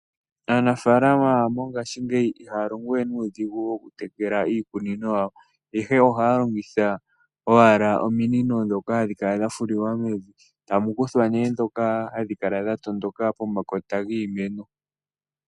Aanafalama mongashingeyi ihaya longowe nuudhigu okutekela iikunino yawo ihe ohaya longitha owala ominino ndhoka hadhi kala dha fulilwa mevi etamu kuthwa ndhoka hadhi kala dha tondoka pomakota giimeno.